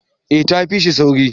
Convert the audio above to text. eh ta fi shi sauri